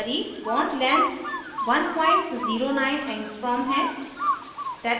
सारी bond lengths lengths 109 angstrom हैं